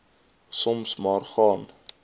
soms maar gaan